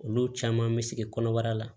Olu caman bɛ sigi kɔnɔbara la